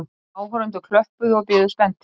Áhorfendur klöppuðu og biðu spenntir.